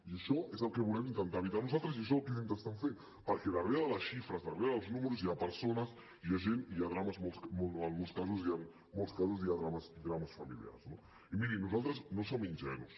i això és el que volem intentar evitar nosaltres i això és el que estem intentant fer perquè darrere de les xifres darrere dels números hi ha persones hi ha gent i en molts casos hi ha drames familiars no i miri nosaltres no som ingenus